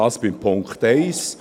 Das gilt für den Punkt 1.